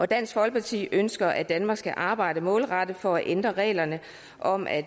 dansk folkeparti ønsker at danmark skal arbejde målrettet for at ændre reglerne om at